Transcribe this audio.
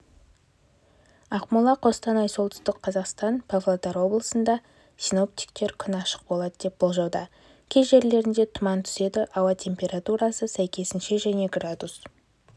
ақмола қостанай солтүстік қазақстан павлодар облысында синоптиктер күн ашық болады деп болжауда кей жерлерінде тұман түседі ауа температурасы сәйкесінше және градус